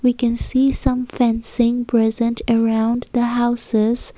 we can some fencing present around the houses.